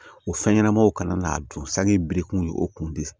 O fɛn ɲɛnamaw kana n'a dun sanji birikuru ye o kun tɛ